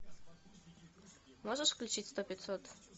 можешь включить сто пятьсот